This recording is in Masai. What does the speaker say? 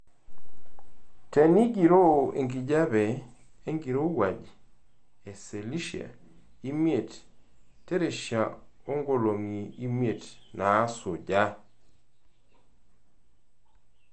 Tengiroo enkijiepe enkirowuaj e selshia imiet terishata oo nkolongi imiet naasuja.